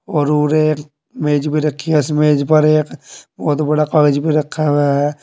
और मेज भी रखी है इस मेज पर एक बहोत बड़ा कागज भी रखा हुआ है।